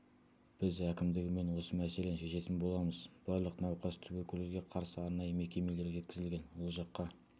біз әкімдігімен осы мәселені шешетін боламыз барлық науқас туберкулезге қарсы арнайы мекемелерге жеткізілген ол жаққа